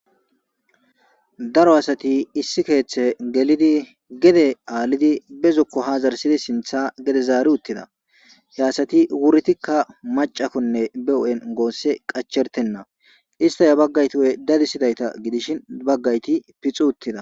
Daro asathi issi keeththee gelidi gede aalidi be zokko haa zaarissidi sinththaa gede zaaruuththida; he asathi wuridikka maccathanne be huuphen goossi qachcherththenna; isththay habagathuugee dadissidaytha gidishin baggaythi pixuuththida.